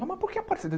Mas por que Aparecida?